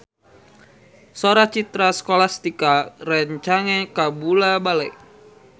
Sora Citra Scholastika rancage kabula-bale